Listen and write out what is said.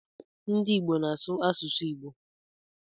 Ndị Ìgbo na-asụ asụsụ Igbo.